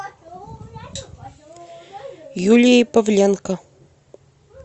юлией павленко